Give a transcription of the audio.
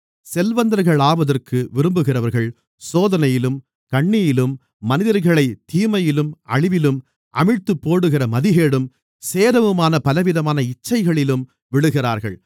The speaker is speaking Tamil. செல்வந்தர்களாவதற்கு விரும்புகிறவர்கள் சோதனையிலும் கண்ணியிலும் மனிதர்களைத் தீமையிலும் அழிவிலும் அமிழ்த்திப்போடுகிற மதிகேடும் சேதமுமான பலவிதமான இச்சைகளிலும் விழுகிறார்கள்